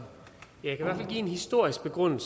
kunne